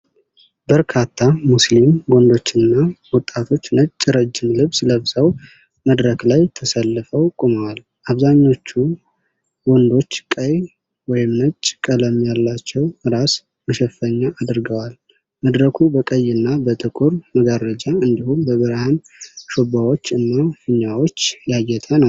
በርካታ ሙስሊም ወንዶችና ወጣቶች ነጭ ረጅም ልብስ ለብሰው መድረክ ላይ ተሰልፈው ቆመዋል። አብዛኛዎቹ ወንዶች ቀይ ወይም ነጭ ቀለም ያላቸው ራስ መሸፈኛ አድርገዋል። መድረኩ በቀይ እና በጥቁር መጋረጃ፣ እንዲሁም በብርሃን ሽቦዎች እና ፊኛዎች ያጌጠ ነው።